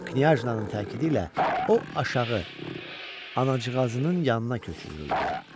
Knyajnanın təkidi ilə o aşağı anacığazının yanına köçürüldü.